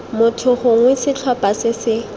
motho gongwe setlhopha se se